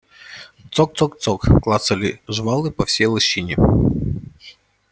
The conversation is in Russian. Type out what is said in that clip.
цок цок цок клацали жвалы по всей лощине